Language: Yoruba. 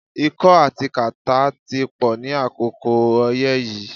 Ikọ́ àti kàtí pò ní àkókò oyé yìí